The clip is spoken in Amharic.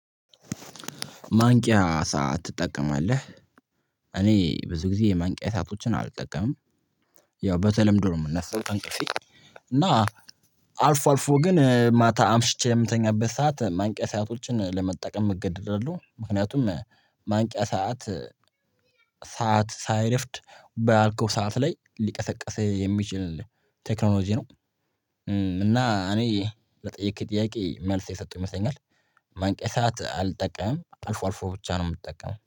ማንቂያ ሰዓት ትጠቀማለህ? እኔ ብዙ ጊዜ የማንቂያ ሰአቶችን አልጠቀምም። ያው በተለምዶ ነው የምነሳው ከእንቅልፌ። እና አልፎ አልፎ ግን ማታ አምሽቼ በምተኛበት ሰዓት ማንቂያ ሰአቶችን ለመጠቀም እገደዳለሁ ምክንያቱም ማንቂያ ሰዓት ሰዓት ሳይረፍድ ባልኩት ሰዓት ላይ ሊቀሰቀስህ የሚችል ቴክኖሎጂ ነው። እና እኔ ለጠየከኝ ጥያቄ መልስ የሰሁ ይመስለኛል። ማንቂያ ሰዓት አልጠቀምም አልፎ አልፎ ብቻ ነው የምጠቀመው